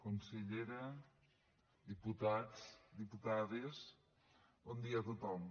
consellera diputats diputades bon dia a tothom